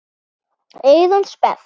Eyrun sperrt.